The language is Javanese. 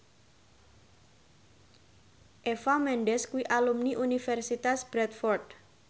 Eva Mendes kuwi alumni Universitas Bradford